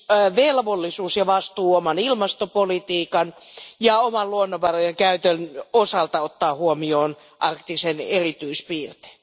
erityisvelvollisuus ja vastuu oman ilmastopolitiikkamme ja oman luonnonvarojen käyttömme osalta ottaa huomioon arktisen alueen erityispiirteet.